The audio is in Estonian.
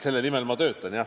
Selle nimel ma töötan, jah.